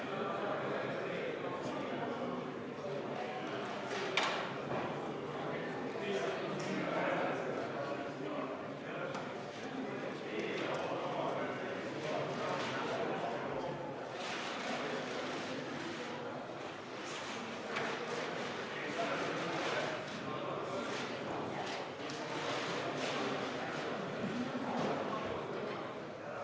Austatud Riigikogu, panen hääletusele muudatusettepaneku nr 7, mille on esitanud Reformierakonna fraktsioon ja mille juhtivkomisjon on jätnud arvestamata.